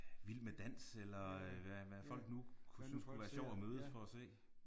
Vild med dans eller hvad hvad folk nu kunne synes kunne være sjovt at mødes for at se